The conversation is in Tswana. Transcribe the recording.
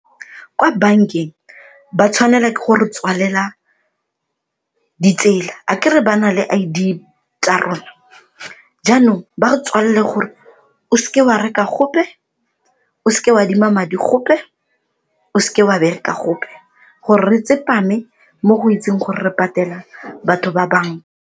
Kwa bankeng ba tshwanela ke go re tswalela ditsela akere ba na le I_D tsa rona, jaanong ba re tswalele gore o se ke wa reka gope, o se ke wa adima madi gope, o se ke wa bereka gope gore re tsepame mo go itseng gore re patela batho ba banka.